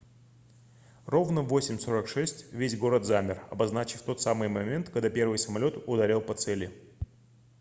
ровно в 08:46 весь город замер обозначив тот самый момент когда первый самолёт ударил по цели